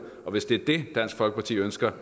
og hvis det er det dansk folkeparti ønsker